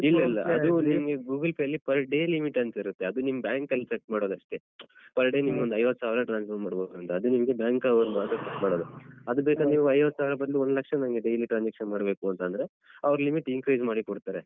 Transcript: ಇಲ್ಲ ಇಲ್ಲ ಅದು ನಿಮ್ಗೆ Google Pay per day limit ತಿರುತ್ತೆ ಅದ್ ನಿಮ್ bank set ಮಾಡೋದಷ್ಟೆ. per day ನಿಮ್ಗೊಂದ್ ಐವತ್ತ್ಸಾವ್ರ transfer ಮಾಡ್ಬೇಕೊಂಡ ಅದ್ ನಿಮ್ಗೆ Google Pay ವರು ಮಾತ್ರ set ಮಾಡೋದು ಅದ್ ಬೇಕಾದ್ರ್‌ ನೀವ್ ಐವತ್ತ್ಸಾವ್ರ ಬದ್ಲು ಒಂದ್ ಲಕ್ಷ ನಂಗೆ daily transaction ಮಾಡ್ಬೇಕು ಅಂತ ಅಂದ್ರೆ ಅವ್ರು limit increase ಮಾಡಿ ಕೊಡ್ತಾರೆ.